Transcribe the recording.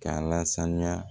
K'a lasanuya